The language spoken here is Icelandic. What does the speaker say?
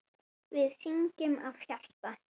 Við syngjum af hjarta.